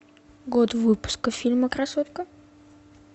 год выпуска фильма красотка